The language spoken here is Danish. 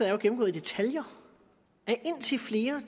er gennemgået i detaljer af indtil flere